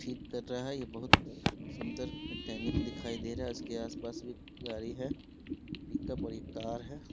ठीक कर रहा है ये बहुत सुन्दर मेकानिक दिखाई दे रहा है उसके आसपास भी गाड़ी है पिकउप और ये कार है ।